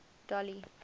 dolly